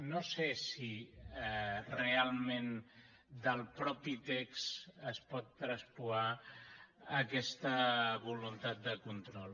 no sé si realment del mateix text es pot traspuar aquesta voluntat de control